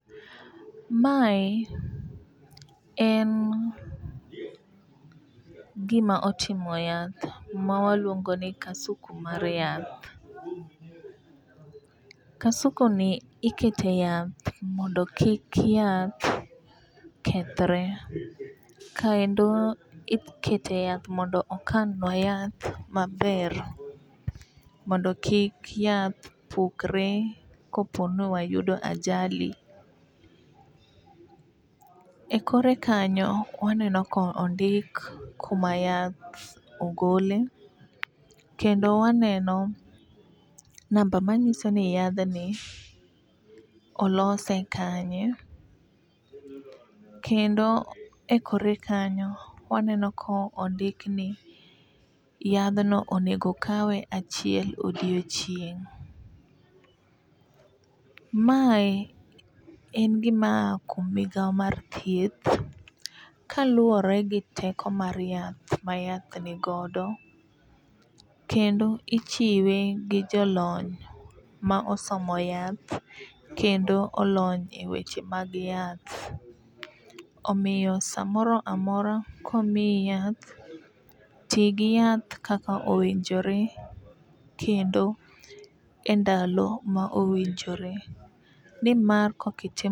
Mae en gima otimo yath ma waluongo ni kasuku mar yath. Kasuku ni ikete yath mondo kik yath kethre kaendo ikete yath mondo okanwa yath maber mondo kik yath pukre kopono wayudo ajali. E kore kanyo waneno kondik kuma yath ogole, kendo waneno namba manyiso ni yadhni olose kanye kendo ekore kanyo waneno kondik ni yadhno onego okawe achiel odiochieng'. Mae en gima aa kuom migawo mar thieth kaluwore gi teko mar yath ma yath ni godo kendo ichiwe gi jolony ma osomo yath kendo olony eweche mag yath. Omiyo samoro amora komiyi yath tigi yath kaka owinjore kendo endalo ma owinjore nimar kokitimo kamano